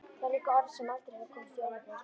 Það er líka orð sem aldrei hefur komist í orðabók.